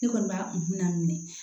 Ne kɔni b'a hukumu daminɛ